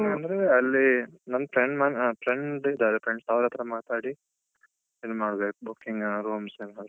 Staying ಅಂದ್ರೆ ಅಲ್ಲೇ ನನ್ friend ಮನೆ ಅಹ್ friend ಇದ್ದಾರೆ friends ಅವ್ರಹತ್ರ ಮಾತಾಡಿ ಇದು ಮಾಡ್ಬೇಕು. booking ಅಹ್ room ಯೆಲ್ಲಾ.